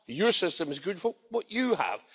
Your system is good for what you have.